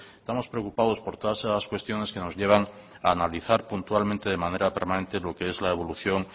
estamos preocupados por todas esas cuestiones que nos llevan a analizar puntualmente de manera permanente lo que es la evolución